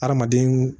Hadamaden